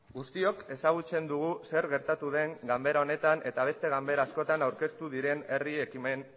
guztiok ezagutzen dugu zer gertatu den ganbara honetan eta beste ganbara askotan aurkeztu diren herri ekimen